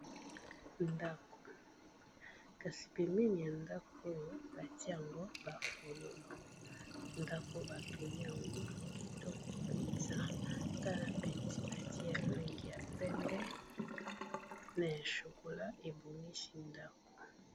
Ndako, kasi pembeni ya ndako oyo batie yango ba fololo. Ndako oyo ba tongi yango kitoko mpeza tala peinture batie ya langi ya pembe na ya chocolat ebongisi ndako.